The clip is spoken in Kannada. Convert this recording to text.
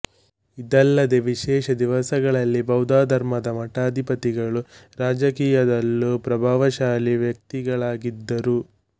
ಇದಲ್ಲದೆ ವಿಶೇಷ ದಿವಸಗಳಲ್ಲಿ ಬೌದ್ಧಧರ್ಮದ ಮಠಾಧಿಪತಿಗಳು ರಾಜಕೀಯದಲ್ಲೂ ಪ್ರಭಾವಶಾಲಿ ವ್ಯಕ್ತಿಗಳಾಗಿದ್ದರು